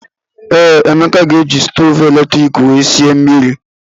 Ee, Emeka ga-eji stovu eletrik wee sie mmiri.